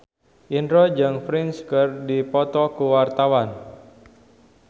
Indro jeung Prince keur dipoto ku wartawan